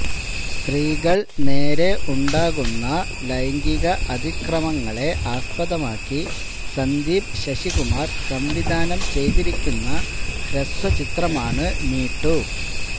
സ്ത്രീകൾ നേരെ ഉണ്ടാകുന്ന ലൈംഗിക അതിക്രമങ്ങളെ ആസ്പദമാക്കി സന്ദീപ് ശശികുമാർ സംവിധാനം ചെയ്തിരിക്കുന്ന ഹ്രസ്വചിത്രമാണ് മീ ടു